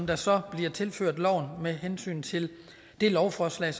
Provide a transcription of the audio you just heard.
der så bliver tilført loven med hensyn til lovforslag